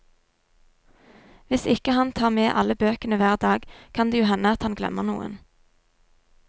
Hvis ikke han tar med alle bøkene hver dag, kan det jo hende at han glemmer noen.